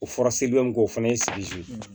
O fɔra sedu k'o fana ye